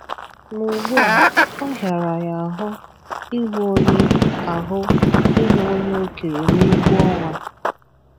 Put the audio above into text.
Ma ugbu a, ọ hịara ya ahụ ịhụ onye ahụ ịhụ onye okenye n’egwu ọnwa.